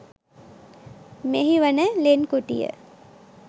මෙහි වන ලෙන් කුටිය